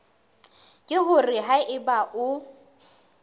ke hore ha eba o